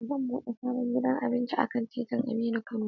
Zan bude sabon gidan abinci akan titin Aminu Kano